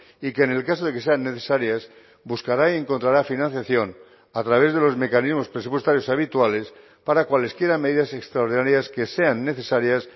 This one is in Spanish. y que en el caso de que sean necesarias buscará y encontrará financiación a través de los mecanismos presupuestarios habituales para cualesquiera medidas extraordinarias que sean necesarias